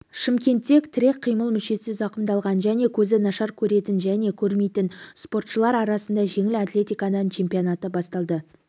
шымкентте тірек-қимыл мүшесі зақымдалған және көзі нашар көретін және көрмейтін спортшылар арасында жеңіл атлетикадан чемпионаты басталды